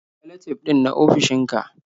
Salatif ɗin na ofishinka?